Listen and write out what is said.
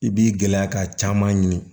I b'i gɛlɛya ka caman ɲini